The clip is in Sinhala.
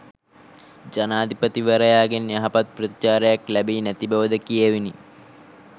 ජනාධිපතිවරයාගෙන් යහපත් ප්‍රතිචාරයක් ලැබී නැති බවද කියැවිණි